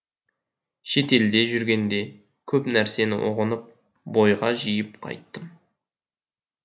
шетелде жүргенде көп нәрсені ұғынып бойға жиып қайттым